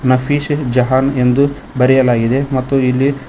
ನಫೀಸ ಜಹಾನ್ ಎಂದು ಬರೆಯಲಾಗಿದೆ ಮತ್ತು ಇಲ್ಲಿ--